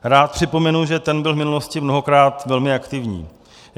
Rád připomenu, že ten byl v minulosti mnohokrát velmi aktivní.